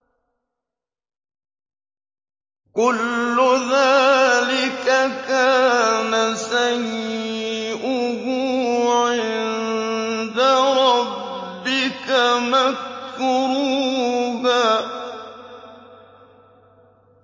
كُلُّ ذَٰلِكَ كَانَ سَيِّئُهُ عِندَ رَبِّكَ مَكْرُوهًا